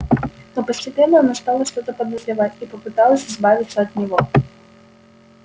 но постепенно она стала что-то подозревать и попыталась избавиться от него